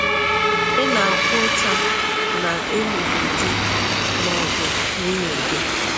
Ị na-akwa ụta na ị lụrụ di ma ọ bụ nwunye gị?